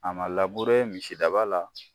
A ma labure misidaba la